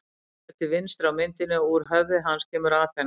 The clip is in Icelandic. Seifur er til vinstri á myndinni og úr höfði hans kemur Aþena.